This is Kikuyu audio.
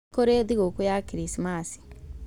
Nĩkũrĩ thigũkũ ya krismasi